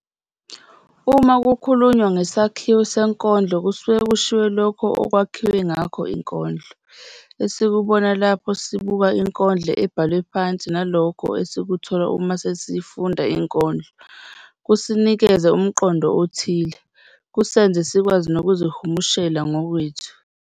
Uma kukhulunywa ngesakhiwo senkondlo kusuke kushiwo lokho okwakhiwe ngakho inkondlo, esikubona lapho sibuka inkondlo ebhalwe phansi nalokho esikuthola uma sesiyifunda inkondlo, kusinikeze umqondo othile, kusenze sikwazi nokuzihumushela ngokwethu